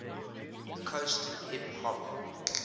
coast hip hop